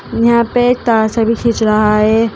यहां पे तार सभी खींच रहा है।